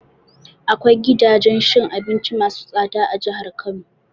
Akwai gidajen cin abinci masu tsada a jihar Kano.